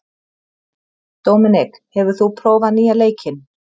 Dominik, hefur þú prófað nýja leikinn?